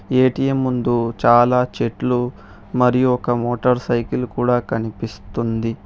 ఈ ఏ_టీ_ఎం ముందు చాలా చెట్లు మరియు ఒక మోటర్ సైకిల్ కూడా కనిపిస్తుంది.